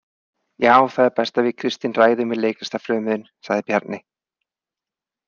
Já, þá er best að við Kristín ræðum við leiklistarfrömuðinn, sagði Bjarni.